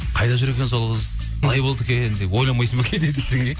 қайда жүр екен сол қыз қалай болды екен деп ойлайнбайсың ба кейде десең иә